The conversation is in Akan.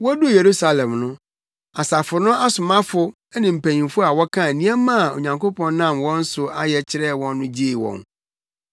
Woduu Yerusalem no, asafo no asomafo ne mpanyimfo a wɔkaa nneɛma a Onyankopɔn nam wɔn so ayɛ kyerɛɛ wɔn no gyee wɔn.